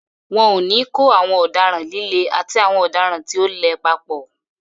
Wọn ò ní kó àwọn ọ̀daràn líle àti àwọn ọ̀daràn tí ò le papọ̀.